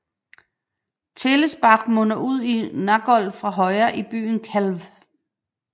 Tälesbach munder ud i Nagold fra højre i byen Calw